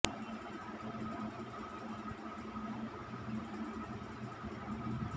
ಜನ ಮನೆ ಬಿಟ್ಟು ಥಿಯೇಟರ್ ಗೆ ಬರುವುದಿಲ್ಲ ಅನ್ನುವ ಮಾತುಗಳು ಆಗಾಗ ಕೇಳಿ ಬರುತ್ತಿದ್ದವು